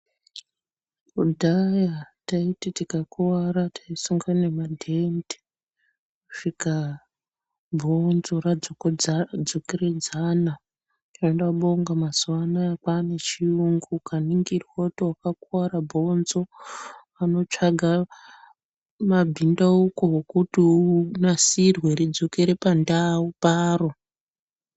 Kudhaya taiti tikakuwara taisunga nemadhende kusvika bhonzo radzokeredzana. Tinobonga mazuwa anaya kwane chiyungu, ukaningirwa kuti wakakuwara bhonzo vanotsvaga mabhindauko okuti unasirwe ridzokere pandau paro.